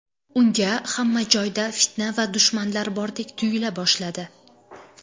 Unga hamma joyda fitna va dushmanlar bordek tuyula boshladi.